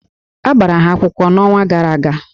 A gbara ha akwụkwọ n'ọnwa gara aga